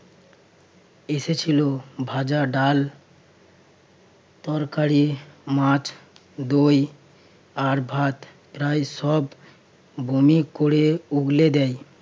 এসেছিল ভাজা ডাল তরকারি, মাছ, দই আর ভাত প্রায় সব বমি করে উগলে দেয়।